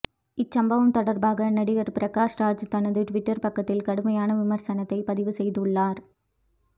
இச்சம்பவம் தொடர்பாக நடிகர் பிரகாஷ் ராஜ் தனது டுவிட்டர் பக்கத்தில் கடுமையான விமர்சனத்தை பதிவு செய்துள்ளார்